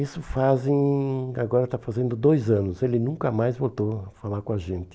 Isso fazem, agora está fazendo dois anos, ele nunca mais voltou a falar com a gente.